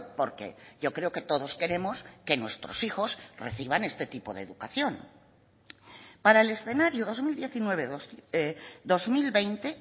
porque yo creo que todos queremos que nuestros hijos reciban este tipo de educación para el escenario dos mil diecinueve dos mil veinte